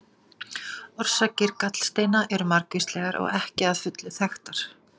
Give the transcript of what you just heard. Orsakir gallsteina eru margvíslegar og ekki að fullu þekktar.